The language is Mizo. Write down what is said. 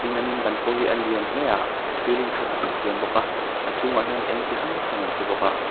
an in ban pawh hi a lian tha hle a ceiling tha tak an siam bawk a a chhungah hian eng chi hrang hrang an chhi bawk a.